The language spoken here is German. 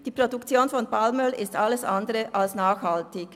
die Produktion von Palmöl ist alles andere als nachhaltig.